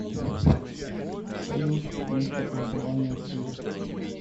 салют место проживания шива